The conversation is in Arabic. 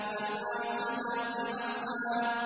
فَالْعَاصِفَاتِ عَصْفًا